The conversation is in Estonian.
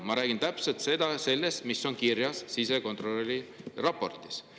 Ma räägin täpselt sellest, mis on kirjas sisekontrolöri raportis.